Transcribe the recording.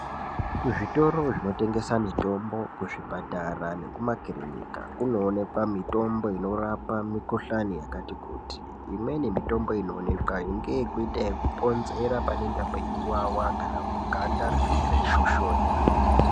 Kuzvitoro zvinotengesa mitombo, kuzvipatara nekumakirinika kunoonekwa mitombo inorapa mikhuhlani yakati kuti. Imweni mitombo inoonekwayo ngeyekuita ekuponzera panenge peiwawa kana kuti rinenge reishoshonya.